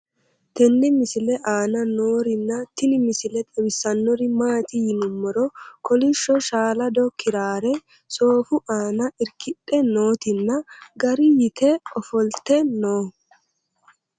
tenne misile aana noorina tini misile xawissannori maati yinummoro kolishsho shaalado kiraarre sooffu aanna irikkidhe noottinna garri yitte offolitte noo